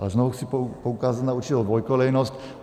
Ale znovu chci poukázat na určitou dvoukolejnost.